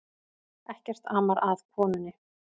Ekkert amar að konunni